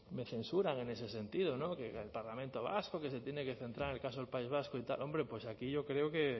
me censuran en ese sentido que el parlamento vasco que se tiene que centrar en el caso del país vasco y tal hombre pues aquí yo creo que